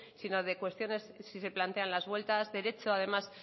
sino de cuestiones si se plantean las vueltas derecho además